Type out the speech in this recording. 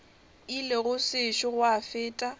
ile go sešo gwa feta